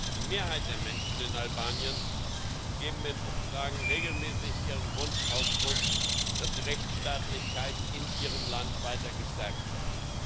Die Mehrheit der Menschen in Albanien gibt in Umfragen regelmäßig ihrem Wunsch Ausdruck, dass die Rechtsstaatlichkeit in ihrem Land weiter gestärkt wird.